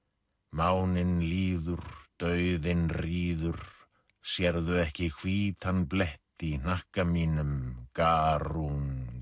máninn líður dauðinn ríður sérðu ekki hvítan blett í hnakka mínum